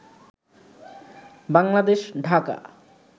Bangladesh Dhaka